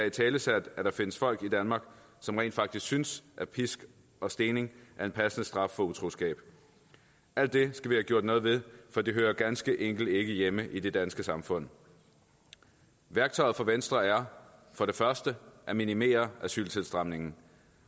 italesat at der findes folk i danmark som rent faktisk synes at pisk og stening er en passende straf for utroskab alt det skal vi have gjort noget ved for det hører ganske enkelt ikke hjemme i det danske samfund værktøjet for venstre er for det første at minimere asyltilstrømningen